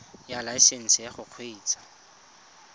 ya laesesnse ya go kgweetsa